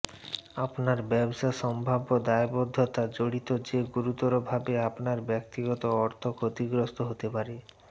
আপনার ব্যবসা সম্ভাব্য দায়বদ্ধতা জড়িত যে গুরুতরভাবে আপনার ব্যক্তিগত অর্থ ক্ষতিগ্রস্ত হতে পারে